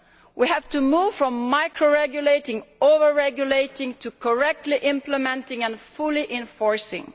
We have to move from micro regulating and over regulating to correctly implementing and fully enforcing.